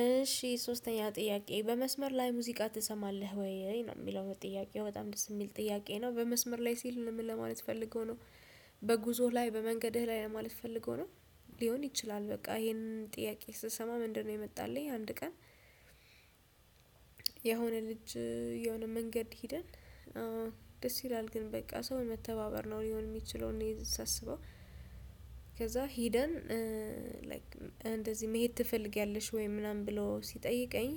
እሺ ሶስተኛ ጥያቄ በመስመር ላይ ሙዚቃ ትሰማለህ ወይ የሚለው ጥያቄ በጣም ደስ የሚል ጥያቄ ነው በመስመር ላይ ሲል ምን ለማለት ፈልገው ነው። በጉዞህ ላይ በመንገድህ ላይ ለማለት ፈልገው ነው። ሊሆን ይችላል በቃ ይሄንን ጥያቄ ስሰማ ምንድነው? የመጣልኝ አንድ ቀን የሆነ ልጅ የሆነ መንገድ ሄደን ደስ ይላል ግን በቃ ሰው መተባበር ነው ሊሆን የሚችለውን እኔ ሳስበው ከዛ ሄደን እንደዚህ መሄድ ትፈልጊያለሽ ወይ ምናምን ብሎ ሲጠይቀኝ።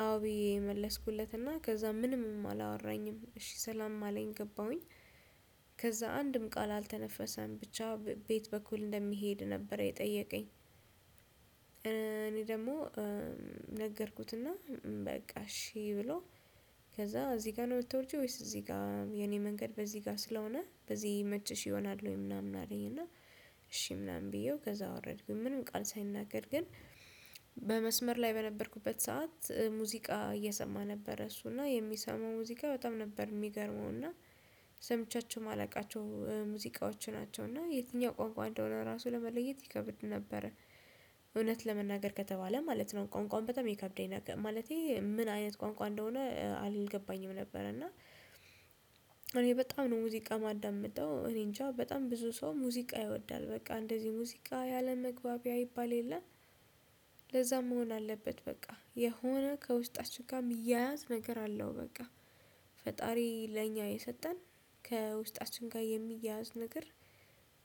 አዎ ብዬ መለስኩለትና ከዛ ምንም አላወራኝም እሺ ሰላም አለኝ ገባሁኝ። ከዛ አንድም ቃል አልተነፈሰም ብቻ በየት በኩል እንደሚሄድ ነበር የጠየቀኝ። እኔ ደግሞ ነገርኩትና በቃ እሺ ብሎ ከዛ እዚህ ጋር ነው የምትወርጂው ወይስ እዚህ ጋር የኔ መንገድ በዚህ ጋር ስለሆነ በዚህ ይመችሽ ይሆናል ወይ? ምናምን አለኝ እና እሺ ምናምን ብዬው ከዛ አወረድኩኝ ምንም ቃል ሳይናገር ግን። በመስመር ላይ በነበርኩበት ሰዓት ሙዚቃ እየሰማ ነበር እሱ እና የሚሰሙ ሙዚቃ በጣም ነበር የሚገርመው ስምቻቸው ማላቃቸው ሙዚቃዎች ናቸውና የትኛው ቋንቋ እንደሆነ ራሱ ለመለየት ይከብድ ነበረ። እውነት ለመናገር ከተባለ ማለት ነው ቋንቋን በጣም ይከብደኝ ነገር ማለቴ ምን አይነት ቋንቋ እንደሆነ አልገባኝም ነበር እና። እኔ በጣም ነው ሙዚቃ የማዳምጠው እኔንጃ በጣም ብዙ ሰው ሙዚቃ ይወዳል በቃ እንደዚህ ሙዚቃ የአለም መግባቢያ ይባል የለም። ለዛም መሆን አለበት በቃ የሆነ ከውስጣችን ጋር ምያያት ነገር አለው በቃ ፈጣሪ ለኛ የሰጠን ከውስጣችን ጋር የሚያያዝ ነገር።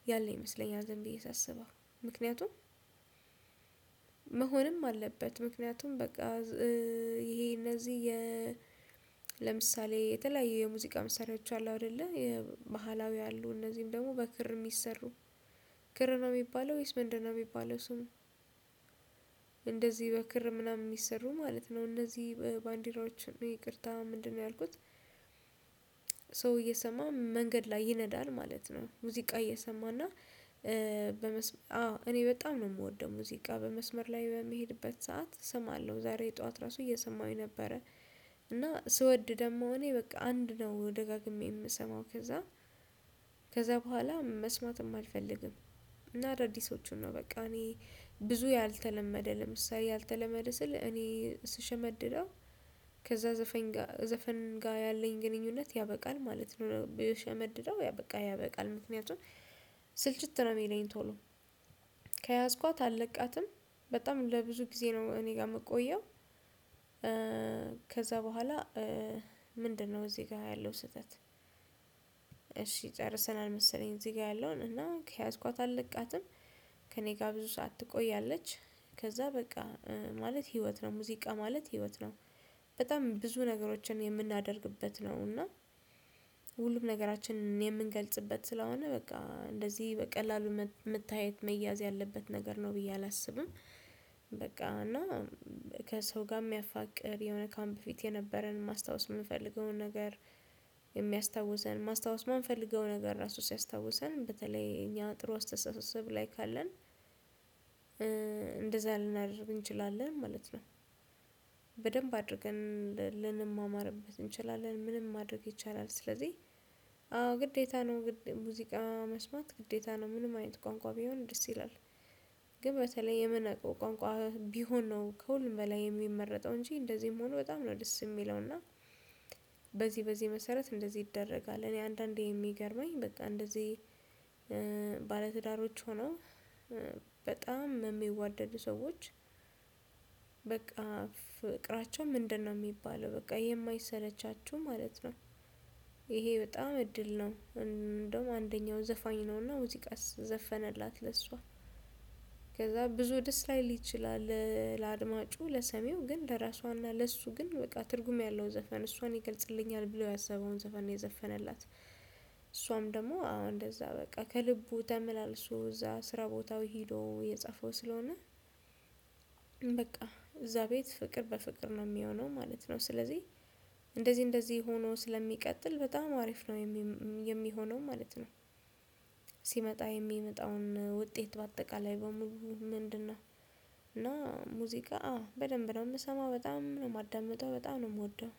ያለ ይመስለኛ ዝም ብየ ሳሰበው ምክንያቱም መሆንም አለበት ምክንያቱም በቃ ይሄ እነዚህ የ ለምሳሌ የተለያዩ የሙዚቃ መሳሪያዎች አሉ አይደለ የመሃላዊ አሉ እነዚህን ደግሞ በክር የሚሰሩ ክር ነው የሚባለው ወይስ ምንድነው የሚባለው ስሙ? እንደዚህ በክር ምናምን የሚሰሩ ማለት ነው እነዚህ ባንዲራዎችን ነው ይቅርታ ምንድነው ያልኩት? ሰው እየሰማ መንገድ ላይ ይነዳል ማለት ነው። ሙዚቃ እየሰማና በመስመር አዎ እኔ በጣም ነው የምወደው ሙዚቃ በመስመር ላይ በምሄድበት ሰዓት እሰማለሁ ዛሬ የጧት ራሱ እየሰማሁኝ ነበረ። እና ስወድ ደግሞ እኔ በቃ አንድ ነው ደጋግሜ የምሰማው ከዛ ከዛ በኋላ መስማትም አልፈልግም። እና አዳዲሶቹን ነው በቃ እኔ ብዙ ያልተለመደ ለምሳሌ ያልተለመደ ስል እኔ ስሸመድደው ከዛ ዘፋኝ ጋር ዘፈን ጋር ያለኝ ግንኙነት ያበቃል ማለት ነው ብሸመድደው ያው በቃ ያበቃል ምክንያቱን ስልችት ነው የሚለኝ ቶሎ ከያዝኳት አልለቃትም በጣም ለብዙ ጊዜ ነው እኔ ጋር የምቆየው። ከዛ በኋላ ምንድነው እዚህ ጋር ያለው ስህተት? እሺ ጨርሰናል መሰለኝ እዚህ ጋር ያለውን እና ከያዝኳት አልለቃትም ከእኔ ጋር ብዙ ሰዓት ትቆያለች ከዛ በቃ ማለት ህይወት ነው ሙዚቃ ማለት ህይወት ነው። በጣም ብዙ ነገሮችን የምናደርግበት ነው እና ሁሉም ነገራችንን የምንገልጽበት ስለሆነ በቃ እንደዚህ በቀላሉ መታየት መያዝ ያለበት ነገር ነው ብዬ አላስብም። በቃ እና ከሰው ጋር የሚያፋቅር የሆነ ካምፕ ፊት የነበረን ማስታወስ የምፈልገውን ነገር የሚያስታውሰን ማስታወስ የማንፈልገውን ነገር ራሱ ሲያስታውሰን በተለይ እኛ ጥሩ ስትሰሳስብ ላይ ካለን እንደዛ ልናደርግ እንችላለን ማለት ነው። በደንብ አድርገን ልንማማርበት እንችላለን ምንም ማድረግ ይቻላል ስለዚህ አዎ ግዴታ ነው ሙዚቃ መስማት ግዴታ ነው ምንም አይነት ቋንቋ ቢሆን ደስ ይላል። ግን በተለይ የምናውቀው ቋንቋ ቢሆን ነው ከሁሉም በላይ የሚመረጠው እንጂ እንደዚህ መሆኑ በጣም ነው ደስ የሚለውና በዚህ በዚህ መሰረት እንደዚህ ይደረጋል እኔ አንዳንዴ የሚገርመኝ በቃ እንደዚህ ባለትዳሮች ሆነው በጣም የሚዋደድ ሰዎች ፍቅራቸው ምንድነው የሚባለው በቃ የማይሰለቻቹ ማለት ነው። ይሄ በጣም እድል ነው እንደውም አንደኛው ዘፋኝ ነውና ሙዚቃስ ዘፈነላት ለእሷ ከዛ ብዙ ደስ ላይ ሊችል ለአድማጩ ለሰሜው ግን ለራሷና ለእሱ ግን በቃ ትርጉም ያለው ዘፈን እሷን ይገልጽልኛል ብለው ያሰበውን ዘፈን የዘፈነላት እሷም ደግሞ አዎ እንደዛ በቃ ከልቡ ተመላልሶ እዛ ስራ ቦታው ሄዶ የጻፈው ስለሆነ። በቃ እዛ ቤት ፍቅር በፍቅር ነው የሚሆነው ማለት ነው። ስለዚህ እንደዚህ እንደዚህ ሆኖ ስለሚቀጥል በጣም አሪፍ ነው። የሚሆነው ማለት ነው። ሲመጣ የሚመጣውን ውጤት በአጠቃላይ በምንድነው እና ሙዚቃ በደንብ ነው የምሰማው በጣም ነው የማዳምጠው በጣም ነው የምወደው